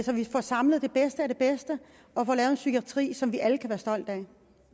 så vi får samlet det bedste af det bedste og får lavet en psykiatri som vi alle kan være stolte af